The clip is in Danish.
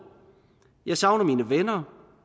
jeg savner mine venner